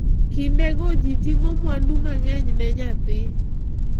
Kindego ji ting'o mwandu mang'eny ne nyathi.